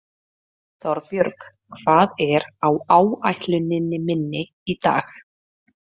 Þorbjörg, hvað er á áætluninni minni í dag?